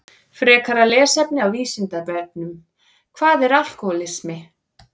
Frekara lesefni á Vísindavefnum Hvað er alkóhólismi?